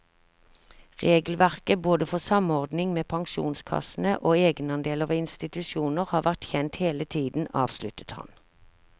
Regelverket både for samordning med pensjonskassene og egenandeler ved institusjoner har vært kjent hele tiden, avsluttet han.